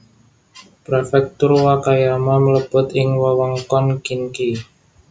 Prefektur Wakayama mlebet ing wewengkon Kinki